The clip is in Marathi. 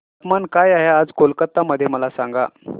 तापमान काय आहे आज कोलकाता मध्ये मला सांगा